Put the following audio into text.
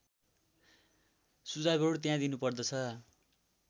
सुझावहरू त्यहाँ दिनुपर्दछ